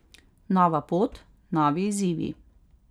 Nova pot, novi izzivi.